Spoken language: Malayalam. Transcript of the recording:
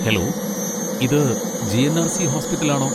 ഹലോ! ഇത് ജി.എൻ.ആർ.സി. ഹോസ്പിറ്റൽ ആണോ?